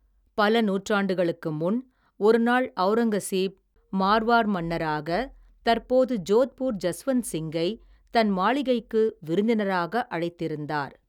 பல நூற்றாண்டுகளுக்கு முன், ஒருநாள் ஔரங்கசீப் மார்வார் மன்னராக தற்போது, ஜோத்பூர் ஜஸ்வந்த் சிங்கை, தன் மாளிகைக்கு, விருந்தினராக அழைத்திருந்தார்.